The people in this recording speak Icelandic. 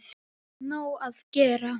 Það er nóg að gera.